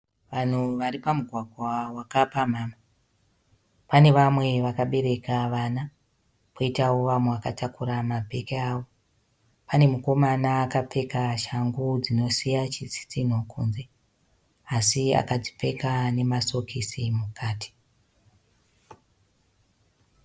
Vanhu vari pamugwagwa wakapamhama pane vamwe vakabereka vana . Koitawo vamwe vakatakura mabheke avo . Pane mukomana akapfeka shangu dzinosiya chitsitsinho kunze asi akadzipfeka nemasokisi mukati .